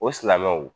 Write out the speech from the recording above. O silamɛw